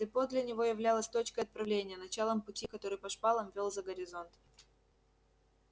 депо для него являлось точкой отправления началом пути который по шпалам вёл за горизонт